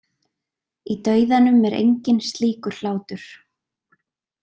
Í dauðanum er enginn slíkur hlátur.